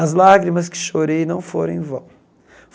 As lágrimas que chorei não foram em vão.